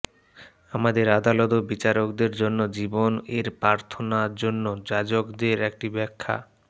আমাদের আদালত ও বিচারকদের জন্য জীবন এর প্রার্থনা জন্য যাজকদের একটি ব্যাখ্যা